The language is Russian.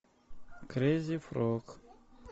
крейзи фрог